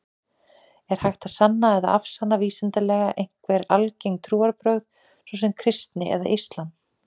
Er hægt að sanna eða afsanna vísindalega einhver algeng trúarbrögð, svo sem kristni eða islam?